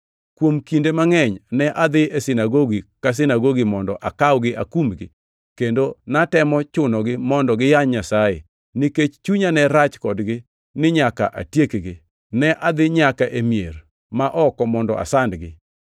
Kuom kinde mangʼeny ne adhi e sinagogi ka sinagogi mondo akawgi akumgi, kendo natemo chunogi mondo giyany Nyasaye. Nikech chunya ne rach kodgi ni nyaka atiekgi, ne adhi nyaka e mier ma oko mondo asandgi.